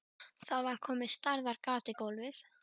Það var komið stærðar gat í gólfið.